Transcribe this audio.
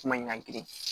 Kuma in ɲagami